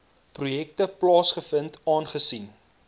projekte plaasvind aangesien